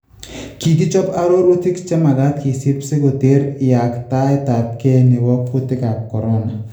Kikichob arorutiK chemagaat kisiib si koter yaaktaetabke neboo kutikaab corona